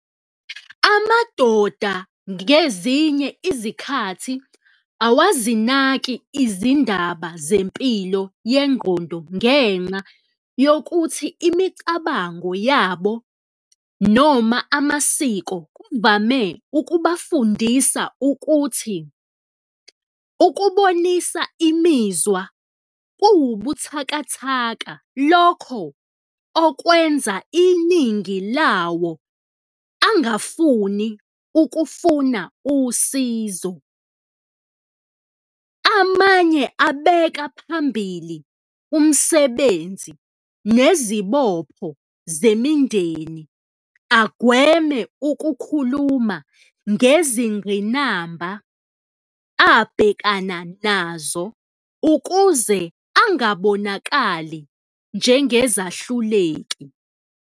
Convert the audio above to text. Amadoda ngezinye izikhathi awazinaki izindaba zempilo yengqondo ngenxa yokuthi imicabango yabo noma amasiko kuvame ukubafundisa ukuthi ukubonisa imizwa kuwubuthakathaka, lokho okwenza iningi lawo angafuni ukufuna usizo. Amanye abeka phambili umsebenzi nezibopho zemindeni agweme ukukhuluma ngezingqinamba abhekana nazo ukuze angabonakali njengezahluleki.